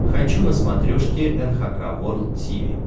хочу на смотрешке эн эйч кей волд ти ви